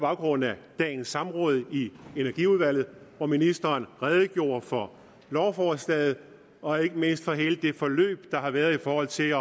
baggrund af dagens samråd i energiudvalget hvor ministeren redegjorde for lovforslaget og ikke mindst på hele det forløb der har været i forhold til